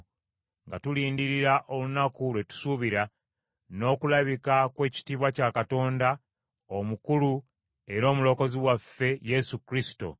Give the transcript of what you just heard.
nga tulindirira olunaku lwe tusuubira, n’okulabika kw’ekitiibwa kya Katonda omukulu era Omulokozi waffe Yesu Kristo;